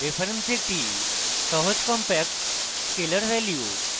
reference একটি সহজ compact scalar value